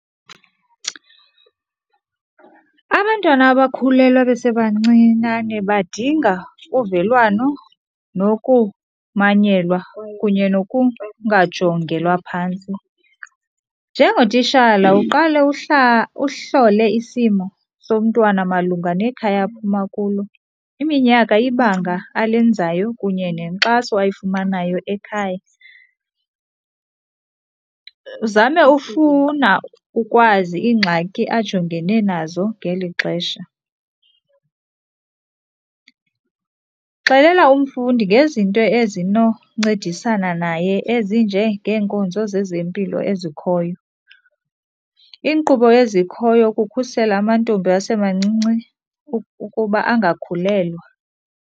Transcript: Abantwana abakhulelwa besebancinane badinga uvelwano nokumanyelwa kunye nokungajongelwa phantsi. Njengotishala uqale uhlole isimo somntwana malunga nekhaya aphuma kulo, iminyaka, ibanga alenzayo kunye nenkxaso ayifumanayo ekhaya. Zame ufuna ukwazi iingxaki ajongene nazo ngeli xesha. Xelela umfundi ngezinto ezinoncedisana naye ezinjengeenkonzo zezempilo ezikhoyo, iinkqubo ezikhoyo ukukhusela amantombi asemancinci ukuba angakhulelwa.